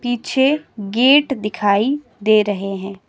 पीछे गेट दिखाई दे रहे हैं।